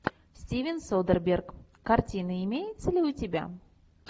стивен содерберг картина имеется ли у тебя